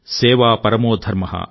సేవా పరమో ధర్మః